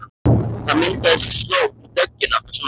Það myndaðist slóð í dögg- ina þar sem hann gekk.